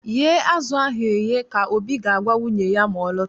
Ghee azụ ahụ eghe!, ka Obi ga-agwa nwunye ya ma ọ lọta